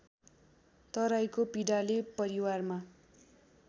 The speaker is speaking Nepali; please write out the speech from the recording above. तराईको पीडाले परिवारमा